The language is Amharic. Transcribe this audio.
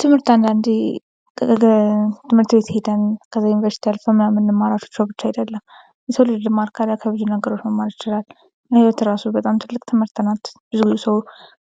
ትምህርት አንዳንዴ ትምህርት ቤት ሄደን ከዛ ዩኒቨርሲቲ አልፈን ምናምን የምንማራቸው ብቻ አይደለም። የሰው ልጅ ልማር ካለ ከብዙ ነገሮች መማር ይችላል ።ህይወት በራሷ በጣም ትልቅ ትምህርት ናት። ብዙ ጊዜ ሰው